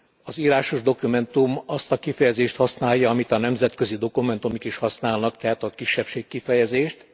Az írásos dokumentum azt a kifejezést használja, amit a nemzetközi dokumentumok is használnak tehát a kisebbség kifejezést.